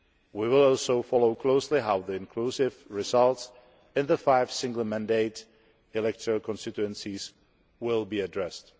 We will also follow closely how the inconclusive results in the five single mandate electoral constituencies will be addressed.